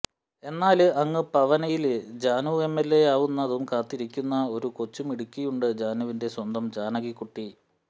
എന്നാല് അങ്ങ് പനവല്ലിയില് ജാനു എംഎല്എയാവുന്നതും കാത്തിരിക്കുന്ന ഒരു കൊച്ചുമിടുക്കിയുണ്ട് ജാനുവിന്റെ സ്വന്തം ജാനകികുട്ടി